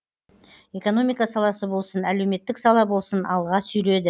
экономика саласы болсын әлеуметтік сала болсын алға сүйреді